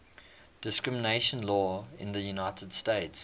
discrimination law in the united states